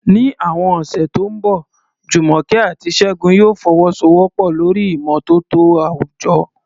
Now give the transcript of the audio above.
Ní àwọn ọ̀sẹ̀ tó ń bọ̀, Jumoke àti Segun yóò fọwọ́sowọ́pọ̀ lórí ìmọ́tótó àwùjọ